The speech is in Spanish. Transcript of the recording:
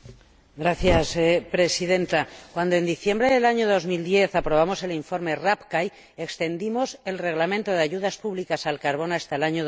Señora Presidenta, cuando en diciembre de 2010 aprobamos el informe Rapkai, prorrogamos el Reglamento de ayudas públicas al carbón hasta el año